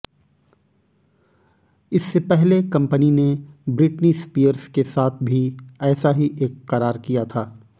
इससे पहले कंपनी ने ब्रिटनी स्पीयर्स के साथ भी ऐसा ही एक करार किया था